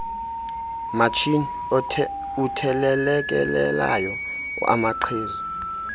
matshini uthelelekelelayo amaqhezu